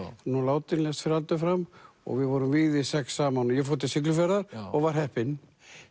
nú látinn lést fyrir aldur fram og við vorum vígðir sex saman ég fór til Siglufjarðar og var heppinn